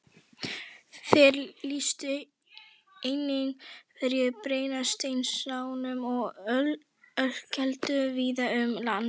Þeir lýstu einnig hverum, brennisteinsnámum og ölkeldum víða um land.